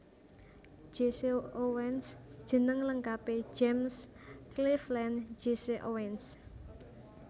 Jesse Owens jeneng lengkapé James Cleveland Jesse Owens